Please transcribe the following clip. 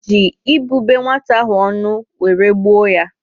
O ji ibube nwata ahụ ọnụ wéré gbuo yá